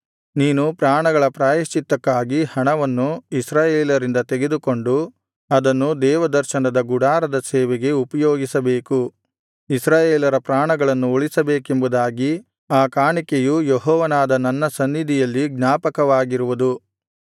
ನೀನು ಪ್ರಾಣಗಳ ಪ್ರಾಯಶ್ಚಿತ್ತಕ್ಕಾಗಿ ಹಣವನ್ನು ಇಸ್ರಾಯೇಲರಿಂದ ತೆಗೆದುಕೊಂಡು ಅದನ್ನು ದೇವದರ್ಶನದ ಗುಡಾರದ ಸೇವೆಗೆ ಉಪಯೋಗಿಸಬೇಕು ಇಸ್ರಾಯೇಲರ ಪ್ರಾಣಗಳನ್ನು ಉಳಿಸಬೇಕೆಂಬುದಾಗಿ ಆ ಕಾಣಿಕೆಯು ಯೆಹೋವನಾದ ನನ್ನ ಸನ್ನಿಧಿಯಲ್ಲಿ ಜ್ಞಾಪಕವಾಗಿರುವುದು